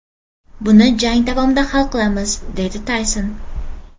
Buni jang davomida hal qilamiz”, deydi Tayson .